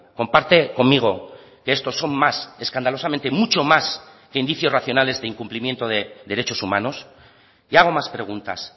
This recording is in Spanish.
comparte conmigo que estos son más escandalosamente mucho más que indicios racionales de incumplimiento de derechos humanos y hago más preguntas